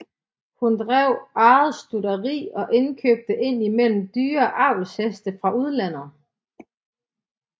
Hun drev eget stutteri og indkøbte ind imellem dyre avlsheste fra udlandet